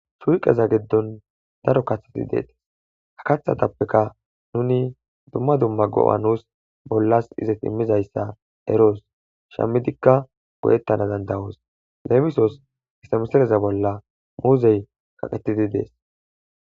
shuuqeza geddon daro katheti deetes ha kathatappeka nuni dumma dumma go7a nuus bollas izet immizayssa eroos shammidikka godettana dandawoos leemisos istamesereza bolla muuzey kaqetidi dees